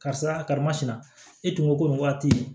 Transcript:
Karisa karimasina e tun ko ko nin waati